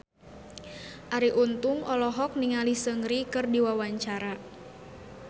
Arie Untung olohok ningali Seungri keur diwawancara